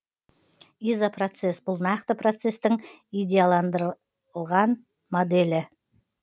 изопроцесс бұл нақты процестің идеалдандырылған моделі